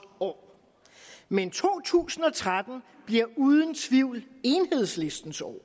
år men to tusind og tretten bliver uden tvivl enhedslistens år